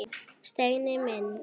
Steini minn!